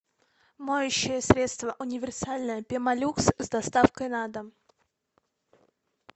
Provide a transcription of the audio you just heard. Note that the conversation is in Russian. моющее средство универсальное пемолюкс с доставкой на дом